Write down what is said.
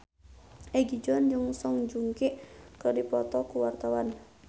Egi John jeung Song Joong Ki keur dipoto ku wartawan